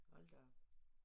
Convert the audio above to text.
Hold da op